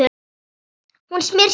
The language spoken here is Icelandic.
Hún smyr sér nesti.